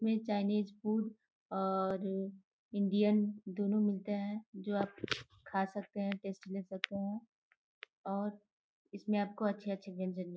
में Chinese food और Indian दोनों मिलता हैं जो आप खा सकते हैं टेस्ट ले सकते हैं और इसमें आपको अच्छे-अच्छे व्यंजन मि --